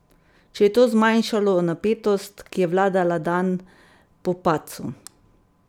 Če je to zmanjšalo napetost, ki je vladala dan po padcu?